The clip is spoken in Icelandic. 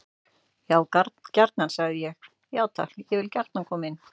Já gjarnan, sagði ég: Já takk, ég vil gjarnan koma inn.